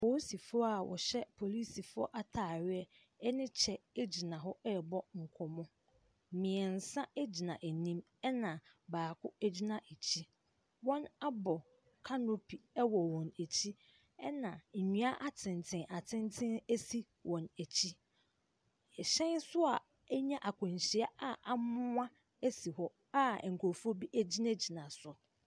Apolisifoɔ a wɔhyɛ apolisifoɔ atadeɛ ne kyɛ gyina hɔ rebɔ nkɔmmɔ. Mmeɛnsa gyina anim, ɛna baako gyina akyire. Wɔabɔ canopy wɔ wɔn akyi, ɛna nnua atenten atenten si wɔn akyi. Ɛhyɛn nso a anya akwanhyia a amoa si hɔ a nkurɔfoɔ bi gyinagyina so.